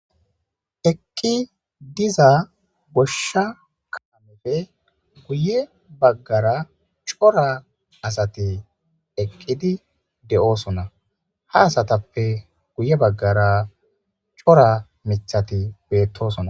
Eqqi diza goshsha kaamefe guye baggara cora asati eqqidi de'oosona ha asatappe guye baggara cora mithati beettosona.